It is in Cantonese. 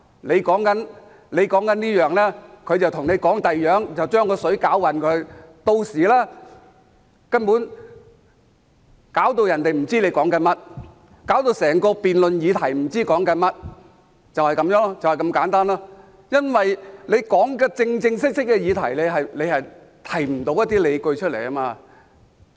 你說這件事，他卻和你說另一件事，把事情搞混，令人根本無法知道他們在說甚麼，令整個辯論議題不知道是在討論甚麼，因為他們無法就真正的議題提出理據，就是這麼簡單。